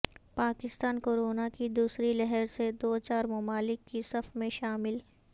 Pakistan corona کی دوسری لہر سے دو چار ممالک کی صف میں شامل